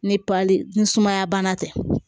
Ni pali ni sumaya bana tɛ